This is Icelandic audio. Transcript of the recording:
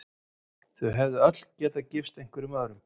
Þau hefðu öll getað gifst einhverjum öðrum.